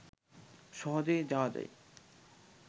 সহজেই যাওয়া যায়